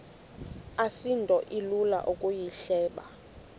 asinto ilula ukuyihleba